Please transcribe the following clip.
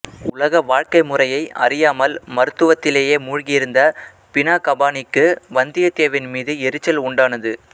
உலக வாழ்க்கை முறையை அறியாமல் மருத்துவத்திலேயே மூழ்கியிருந்த பினாகபாணிக்கு வந்தியத்தேவன் மீது எரிச்சல் உண்டானது